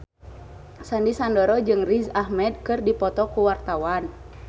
Sandy Sandoro jeung Riz Ahmed keur dipoto ku wartawan